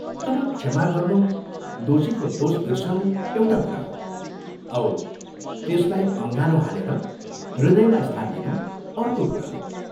तर क्षमा गर्नु दोषीको दोष बिर्सनु एउटा कुरा हो औ त्यसलाई अँगालो हालेर हृदयमा स्थान दिनु अर्को कुरा हो।